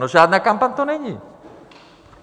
No, žádná kampaň to není.